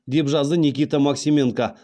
деп жазды никита максименко